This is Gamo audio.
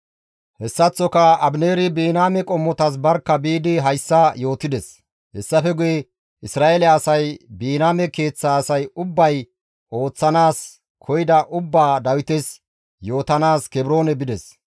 Hessaththoka Abineeri Biniyaame qommotas barkka biidi hayssa yootides; hessafe guye Isra7eele asay Biniyaame keeththa asay ubbay ooththanaas koyida ubbaa Dawites yootanaas Kebroone bides.